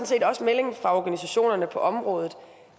set også meldingen fra organisationerne på området